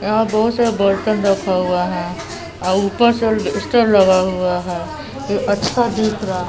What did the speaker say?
यहां बहोत सा बर्तन रखा हुए हैं और ऊपर से अल्बेस्टर लगा हुआ है ये अच्छा दिख रहा--